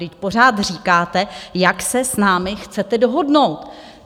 Vždyť pořád říkáte, jak se s námi chcete dohodnout.